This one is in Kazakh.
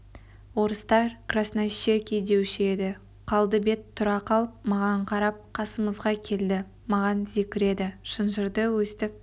орыстар краснощекий деуші еді қалды бет тұра қалып маған қарап қасымызға келді маған зекіреді шынжырды өстіп